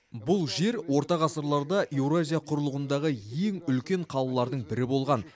бұл жер орта ғасырларда еуразия құрлығындағы ең үлкен қалалардың бірі болған